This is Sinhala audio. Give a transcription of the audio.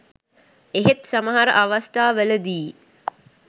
එහෙත් සමහර අවස්ථාවල දී